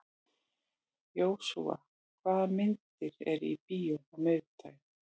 Jósúa, hvaða myndir eru í bíó á miðvikudaginn?